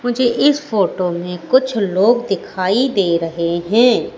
मुझे इस फोटो में कुछ लोग दिखाई दे रहे हैं।